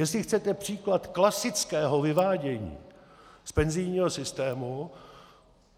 Jestli chcete příklad klasického vyvádění z penzijního systému,